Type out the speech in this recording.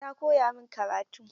Ta koya min karatu.